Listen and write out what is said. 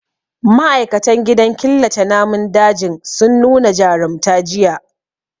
Ma'aikatan gidan killace namun dajin sun nu na jarumta jiya.